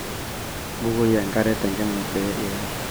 bukoi enkare tenkima pee iyara